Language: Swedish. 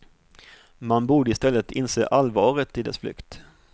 Man borde i stället inse allvaret i dess flykt.